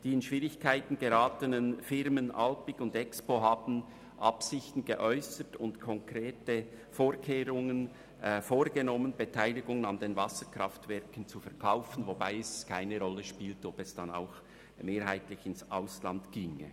Die in Schwierigkeiten geratenen Firmen Alpiq und Axpo haben Absichten geäussert und konkrete Vorkehrungen getroffen, um ihre Beteiligung an den Wasserkraftwerken zu verkaufen, wobei es keine Rolle spielt, ob sie dann auch mehrheitlich ins Ausland gingen.